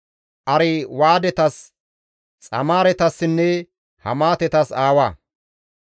Arwaadetas, Xamaaretassinne Hamaatetas aawa.